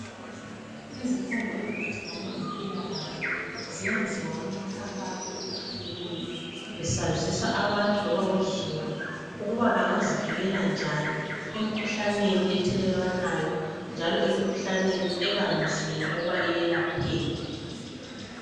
izifundo eziphathelane lempilakahle zenziwa kumikhankaso etshiyeneyo besazisa abantu loba uzulu ukuba bangazivikela njani emikhuhlaneni ethelelwanayo njalo emkhuhlaneni ebanzima ukuba iyelapheke